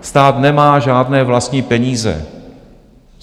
Stát nemá žádné vlastní peníze.